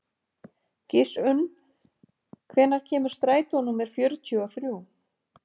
Gissunn, hvenær kemur strætó númer fjörutíu og þrjú?